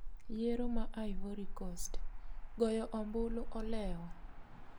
Yiero ma Ivory Coast: goyo ombulu olewo